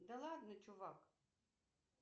да ладно чувак